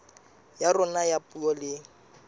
ya rona ya puo le